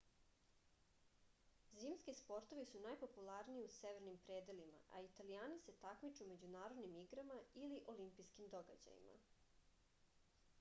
zimski sportovi su najpopularniji u severnim predelima a italijani se takmiče u međunarodnim igrama ili olimpijskim događajima